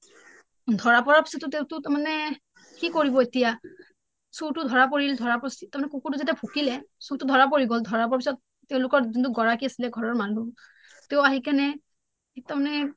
ধৰা পৰাৰ পিছত তেওঁ টো তাৰ মানে কি কৰিব এতিয়া চুৰ টো ধৰা পৰিল ধৰা তাৰ মানে কুকুৰ টো যেতিয়া ভুকিলে চুৰ টো ধৰা পৰি গল তেওঁলোকৰ যোনটো গৰাকী আছিলে ঘৰৰ মানুহ তেওঁ আহি কেনে তাৰ মানে